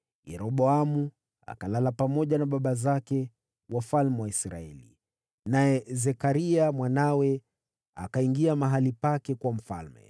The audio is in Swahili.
Yeroboamu akalala pamoja na baba zake, wafalme wa Israeli. Naye Zekaria mwanawe akawa mfalme baada yake.